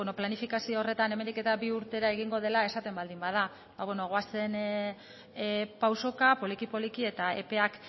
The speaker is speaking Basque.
planifikazio horretan hemendik bi urtera egingo dela esaten baldin bada ba beno goazen pausoka poliki poliki eta epeak